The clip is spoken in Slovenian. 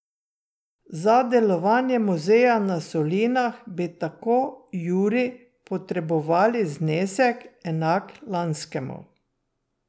Za delovanje muzeja na solinah bi, tako Juri, potrebovali znesek, enak lanskemu.